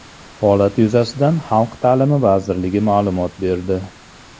Holat yuzasidan Xalq ta’limi vazirligi ma’lumot berdi .